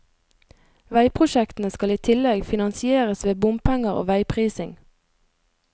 Veiprosjektene skal i tillegg finansieres ved bompenger og veiprising.